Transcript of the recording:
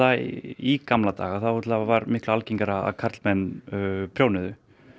í gamla daga var algengt að karlar prjónuðu